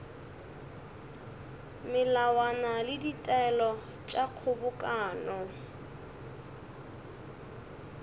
melawana le ditaelo tša kgobokano